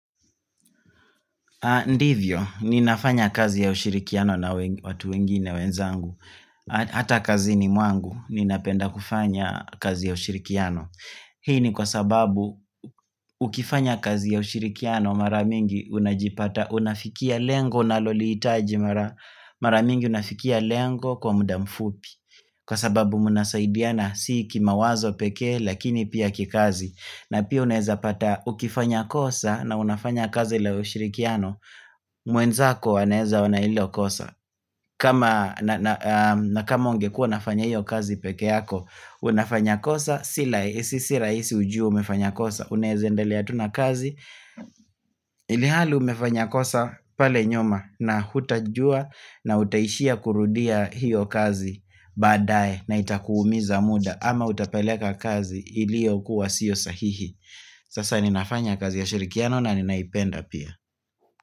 Ndivyo ni nafanya kazi ya ushirikiano na watu wengine wenzangu Hata kazini mwangu ni napenda kufanya kazi ya ushirikiano Hii ni kwa sababu ukifanya kazi ya ushirikiano mara mingi unajipata Unafikia lengo unalolihitaji mara mingi unafikia lengo kwa muda mfupi Kwa sababu mnasaidiana si kima wazo pekee lakini pia kikazi na pia unaweza pata ukifanya kosa na unafanya kazi la ushirikiano mwenzako aneweza ona hilo kosa kama kama ungekuwa unafanya hiyo kazi peke yako Unafanya kosa sirahisi sirahisi ujue umefanya kosa Unaweze endelea tu na kazi Ilihali umefanya kosa pale nyuma na hutajua na utaishia kurundia hiyo kazi badaye na itakuumiza muda ama utapeleka kazi iliyo kuwa siyo sahihi Sasa ninafanya kazi ya ushirikiano na ninaipenda pia.